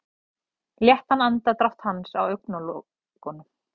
Léttan andardrátt hans á augnalokunum.